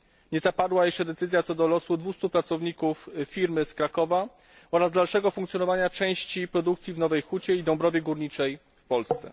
Nie zapadła jeszcze decyzja, co do losów 200 pracowników firmy z Krakowa oraz dalszego funkcjonowania części produkcji w Nowej Hucie i Dąbrowie Górniczej w Polsce.